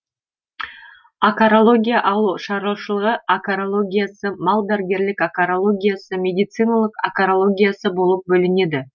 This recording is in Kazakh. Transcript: акарология ауылшаруашылығы акарологиясы малдәрігерлік акарологиясы медициналық акарологиясы болып бөлінеді